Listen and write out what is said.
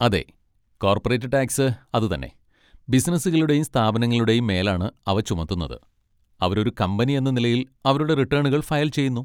അതെ, corporate tax അതുതന്നെ, ബിസിനസുകളുടെയും സ്ഥാപനങ്ങളുടെയും മേലാണ് അവ ചുമത്തുന്നത്, അവരൊരു കമ്പനി എന്ന നിലയിൽ അവരുടെ റിട്ടേണുകൾ ഫയൽ ചെയ്യുന്നു.